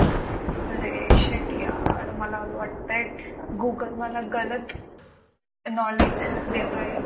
अरे shet यार मला वाटतंय google मला गलत knowledge देतोय.